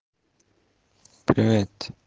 привет